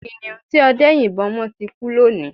Kiniun tí ọdẹ́ yìnbọ́ mọ́ ti kú lónìí